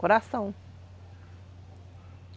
Coração.